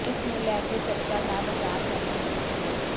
ਇਸ ਨੂੰ ਲੈ ਕੇ ਚਰਚਾ ਦਾ ਬਜ਼ਾਰ ਗਰਮ ਹੈ